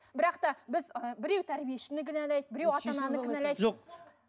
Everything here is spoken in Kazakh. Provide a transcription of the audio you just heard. бірақ та біз ыыы біреу тәрбиешіні кінәлайды біреу ата ананы